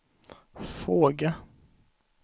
fråga